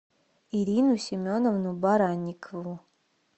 ирину семеновну баранникову